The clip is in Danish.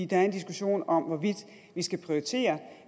der er en diskussion om hvorvidt vi skal prioritere